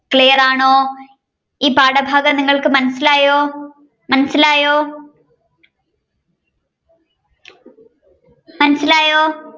clear ആണോ ഈ പാഠഭാഗം നിങ്ങൾക്ക് മനസിലായോ മനസിലായോ